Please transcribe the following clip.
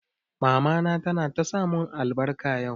Mama ta na ta sa mun albarka yau